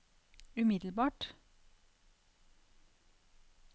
umiddelbart